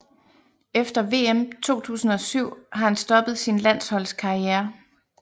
Efter vm 2007 har han stoppet sin landsholdskarriere